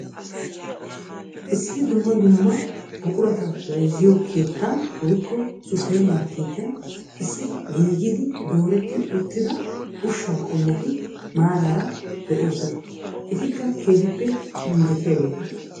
Issi dumma dumma buqurata bayzziyo keettan woykko supper markketiyan issi gididi dooretti uttida ushsha qommoti maaraara de'oosona. Etikka keehippe injjetiyaageeta.